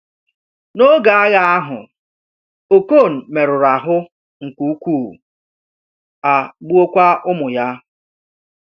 N’oge agha ahụ, Okon merụrụ ahụ nke ukwuu, a gbuokwa ụmụ ya.